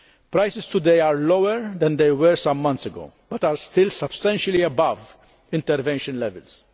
Prices today are lower than they were some months ago, but are still substantially above intervention levels.